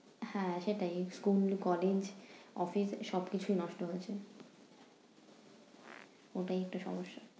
হ্যাঁ সেটাই school, college, office সব কিছু নষ্ট হয়েছে, ওটাই একটু সমস্যা।